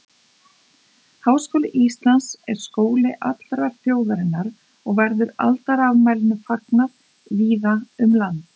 Háskóli Íslands er skóli allrar þjóðarinnar og verður aldarafmælinu fagnað víða um land.